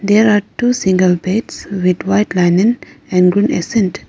there are two single beds with white linen and green ascent.